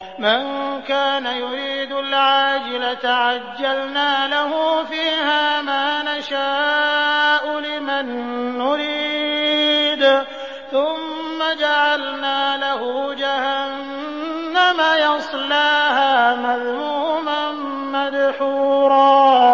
مَّن كَانَ يُرِيدُ الْعَاجِلَةَ عَجَّلْنَا لَهُ فِيهَا مَا نَشَاءُ لِمَن نُّرِيدُ ثُمَّ جَعَلْنَا لَهُ جَهَنَّمَ يَصْلَاهَا مَذْمُومًا مَّدْحُورًا